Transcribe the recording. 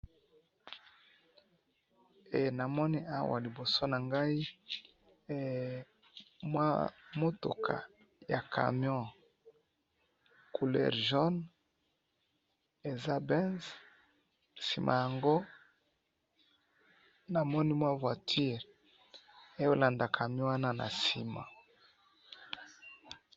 Namoni awa liboso na ngai mua mutuka ya camion couleur jaune eza benz sima yango namoni mua voiture ezo landa camion wana na sima